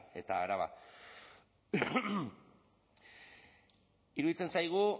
eta araba iruditzen zaigu